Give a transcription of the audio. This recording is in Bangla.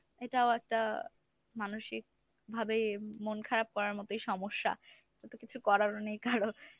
এটাও একটা মানসিকভাবে মন খারাপ করার মতই সমস্যা। তাতো কিছু করারও নেই কারো।